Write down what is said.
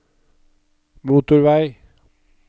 motorvei